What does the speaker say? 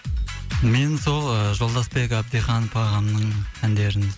мен сол жолдасбек абдиханов ағамның әндерін